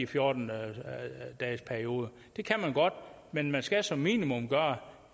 fjorten dages periode det kan man godt men man skal som minimum gøre